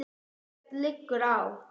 Ekkert liggur á